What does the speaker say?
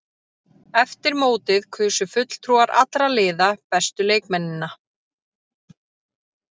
Eftir mótið kusu fulltrúar allra liða bestu leikmennina.